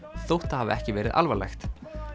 þótt það hafi ekki verið alvarlegt